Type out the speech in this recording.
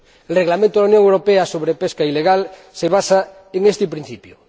El Reglamento de la Unión Europea sobre pesca ilegal se basa en este principio.